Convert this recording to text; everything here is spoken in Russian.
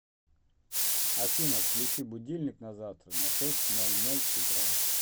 афина включи будильник на завтра на шесть ноль ноль утра